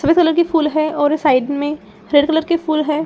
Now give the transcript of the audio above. सफेद कलर की फूल है और साइड में हरे कलर के फूल हैं।